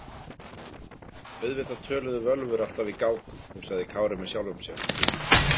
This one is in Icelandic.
Auðvitað töluðu völvur alltaf í gátum, hugsaði Kári með sjálfum sér.